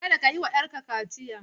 Kada ka yi wa 'yarka kaciya!